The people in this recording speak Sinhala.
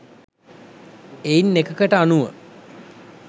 එයින් එකකට අනුව